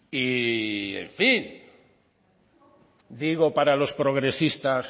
y en fin digo para los progresistas